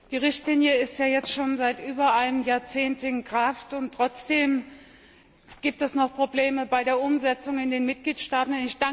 Herr Präsident! Die Richtlinie ist ja jetzt schon seit über einem Jahrzehnt in Kraft, und trotzdem gibt es noch Probleme bei der Umsetzung in den Mitgliedstaaten.